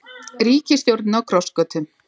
Ríkisstjórnin á krossgötum